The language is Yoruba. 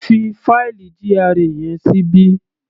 Fi fáìlì GRA yẹn síbí.